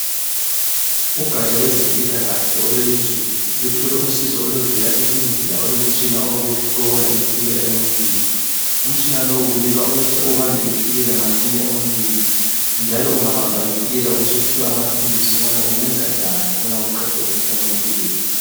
Ugatsha lwezempilakahle lelizweluthole usizo oluvela eIndiya olomtshina wokuhlola itshukela emuntwini. Umtshina lowo kubikwa uyahle ubambe itshukela emuntwini njalo ungabanjwa itshukela ubusuphiwa amaphilisi okuba ungenza njani ukuba uqede umkhuhlane wetshukela.